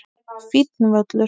Fínn völlur.